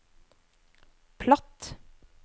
platt